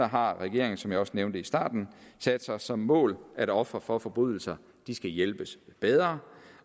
har regeringen som jeg også nævnte i starten sat sig som mål at ofre for forbrydelser skal hjælpes bedre